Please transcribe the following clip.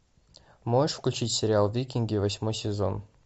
можешь включить сериал викинги восьмой сезон